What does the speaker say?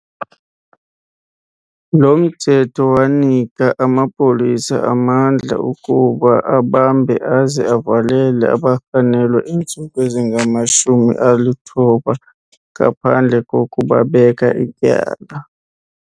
Lo mthetho wanika amapolisa amandla okuba abambe aze avalele abarhanelwa iintsuku ezingama-90 ngaphandle kokubabeka ityala.